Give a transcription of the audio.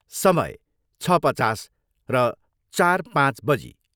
समय, छ पचास र चार पाँच बजी।